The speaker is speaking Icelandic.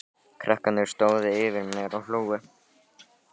Krakkarnir stóðu yfir mér og hlógu.